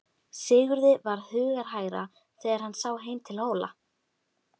Sigurði varð hugarhægra þegar sá heim til Hóla.